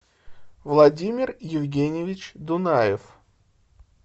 владимир евгеньевич дунаев